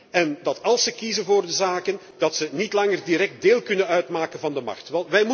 En dat als zij kiezen voor de zaken, zij niet langer direct deel kunnen uitmaken van de macht.